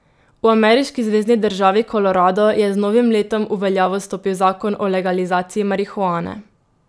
V ameriški zvezni državi Kolorado je z novim letom v veljavo stopil zakon o legalizaciji marihuane.